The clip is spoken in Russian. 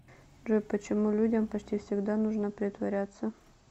джой почему людям почти всегда нужно притворяться